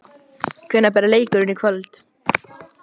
Hvenær byrjar leikurinn í kvöld?